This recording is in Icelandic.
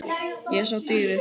Ég sá dýrið.